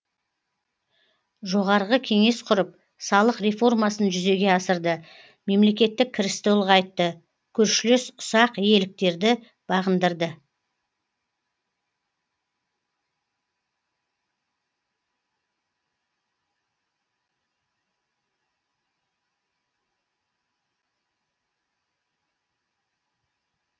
жоғарғы кеңес құрып салық реформасын жүзеге асырды мемлекеттік кірісті ұлғайтты көршілес ұсақ иеліктерді бағындырды